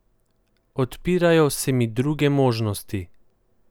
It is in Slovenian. Odpirajo se mi druge možnosti.